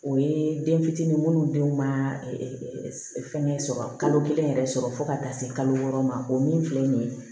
O ye den fitinin minnu denw ma fɛn sɔrɔ kalo kelen yɛrɛ sɔrɔ fo ka taa se kalo wɔɔrɔ ma o min filɛ nin ye